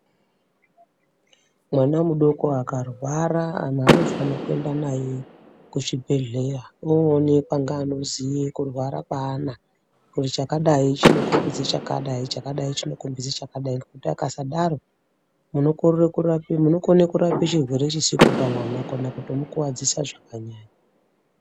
Mwana mudoko akarwara anhu anofana kuende naye kuchibhedhleya oonekwa ngaanoziye kurwara kwaana kuti chakadai chinokombidze chakadai, chakadai chinokombidze chakadai, Ngekuti akasadaro, munokorere kurape, munokone kurape chirwere chisipo pamwana kana kutomukuvadzisa zvakanyanya.